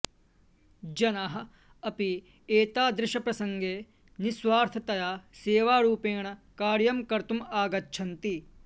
जनाः अपि एतादृशप्रसङ्गे निस्वार्थतया सेवारुपेण कार्यं कर्तुम् आगच्छन्ति